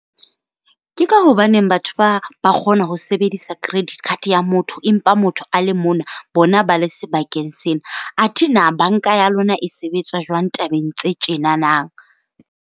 Ke ka hobaneng batho ba ba kgona ho sebedisa credit card ya motho empa motho a le mona bona ba le sebakeng sena? Athe na banka ya lona e sebetsa jwang tabeng tse tjena na?